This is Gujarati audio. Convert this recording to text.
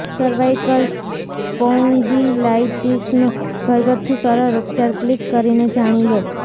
સર્વાઈકલ સ્પૌન્ડિલાઈટીસનો ઘરગથ્થું સરળ ઉપચાર ક્લિક કરી ને જાણી લો